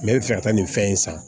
N bɛ fɛ ka taa nin fɛn in san